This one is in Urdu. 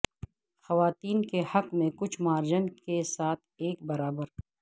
خواتین کے حق میں کچھ مارجن کے ساتھ ایک برابر